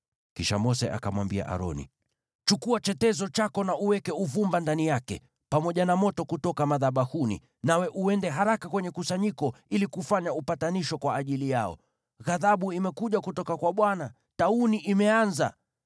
Kisha Mose akamwambia Aroni, “Chukua chetezo chako na uweke uvumba ndani yake, pamoja na moto kutoka madhabahuni, nawe uende haraka kwenye kusanyiko ili kufanya upatanisho kwa ajili yao. Ghadhabu imekuja kutoka kwa Bwana , na tauni imeanza.”